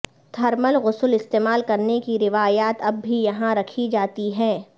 thermal غسل استعمال کرنے کی روایات اب بھی یہاں رکھی جاتی ہیں